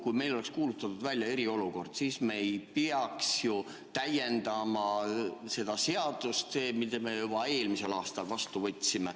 Kui meil oleks kuulutatud välja eriolukord, siis me ei peaks ju täiendama seda seadust, mille me juba eelmisel aastal vastu võtsime.